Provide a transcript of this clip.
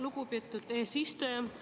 Lugupeetud eesistuja!